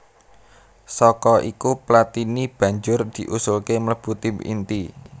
Saka iku Platini banjur diusulké mlebu tim inti